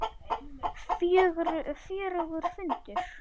Guðný: Fjörugur fundur?